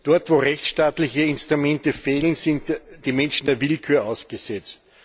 Dort wo rechtsstaatliche Instrumente fehlen, sind die Menschen der Willkür ausgesetzt.